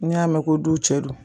N'i y'a mɛn ko du cɛ don